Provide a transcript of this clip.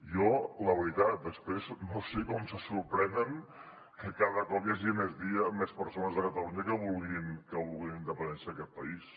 jo la veritat després no sé com se sorprenen que cada cop hi hagi més persones a catalunya que vulguin la independència d’aquest país